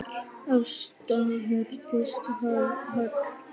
Ásta Herdís Hall.